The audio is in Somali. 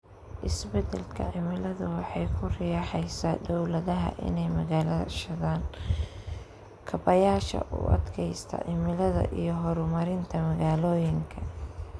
Isbeddelka cimiladu waxay ku riixaysaa dawladaha inay maalgashadaan kaabayaasha u adkaysta cimilada iyo horumarinta magaalooyinka.